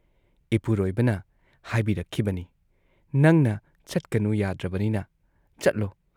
ꯏꯄꯨꯔꯣꯏꯕꯅ ꯍꯥꯏꯕꯤꯔꯛꯈꯤꯕꯅꯤ‑ "ꯅꯪꯅ ꯆꯠꯀꯅꯨ ꯌꯥꯗ꯭ꯔꯕꯅꯤꯅ ꯆꯠꯂꯣ ꯫